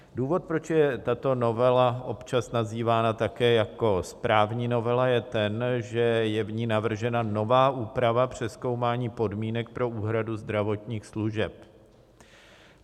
Důvod, proč je tato novela občas nazývána také jako správní novela, je ten, že je v ní navržena nová úprava přezkoumání podmínek pro úhradu zdravotních služeb.